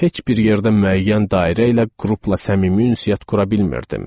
Heç bir yerdə müəyyən dairə ilə qrupla səmimi ünsiyyət qura bilmirdim.